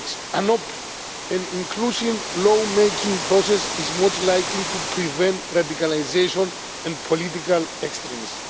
An open and inclusive law making process is most likely to prevent radicalisation and political extremism.